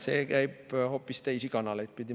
See käib hoopis teisi kanaleid pidi.